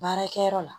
Baarakɛyɔrɔ la